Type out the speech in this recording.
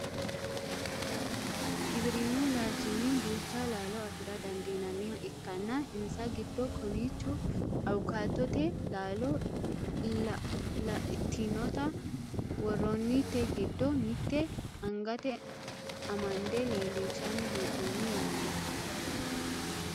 giwirinnu laalchinni duucha laalo afira dandinanniha ikkanna insa giddo kowiicho awukaatote laalo laatinota worroonnite giddo mitte angate amande leellishshanni hee'noonni yaate